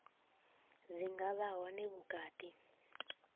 dzi nga vha hone vhukati